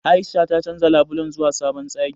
A'isha ta canja labulen zuwa sabon tsari.